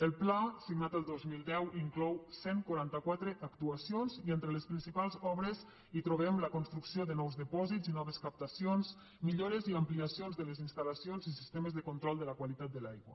el pla signat el dos mil deu inclou cent i quaranta quatre actuacions i entre les principals obres hi trobem la construcció de nous dipòsits i noves captacions millores i ampliacions de les instal·lacions i sistemes de control de la qualitat de l’aigua